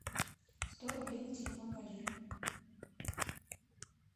сто рублей на телефон валеры